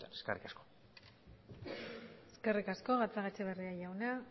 eskerrik asko eskerrik asko gatzagaetxeberria jauna